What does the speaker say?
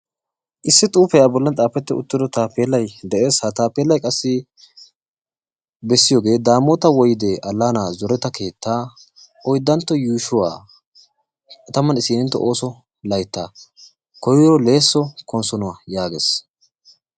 Issi xuufee a bolli xaafetti uttido taappeellayi de'es. Ha taappeellayi qassi bessiyogee daamoota woyde allaanaa zoreta keettaa oyddantto yuushuwa tammanne isiinintto ooso layttaa koyro leesso konsonuwa yaages.